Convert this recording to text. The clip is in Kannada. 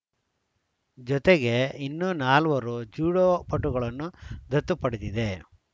ಜತೆಗೆ ಇನ್ನೂ ನಾಲ್ವರು ಜುಡೋ ಪಟುಗಳನ್ನು ದತ್ತು ಪಡೆದಿದೆ